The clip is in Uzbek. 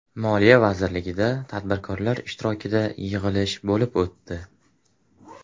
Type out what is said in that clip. Moliya vazirligida tadbirkorlar ishtirokida yig‘ilish bo‘lib o‘tdi.